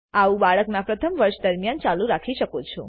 આવું બાળક ના પ્રથમ વર્ષ દરમિયાન ચાલુ રાખી શકો છો